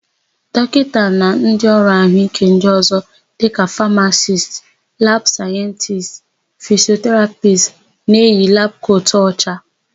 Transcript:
Dọkịta na ndịọrụ àhụ́íké ndị ọ̀zọ́ dịka famacist, labụ sayentisti, fisioterapisti na-eyi labụ kotu ọcha.